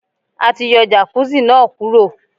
A ti yọ Jàkúzì náà kúrò.